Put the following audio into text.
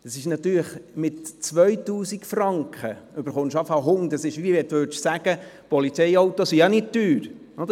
Zwar bekommen Sie für 2000 Franken einen Hund, aber das ist dasselbe, wie wenn Sie sagen würden, Polizeiautos seien nicht teuer.